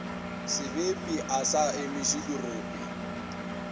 sebepi a sa emiše dirope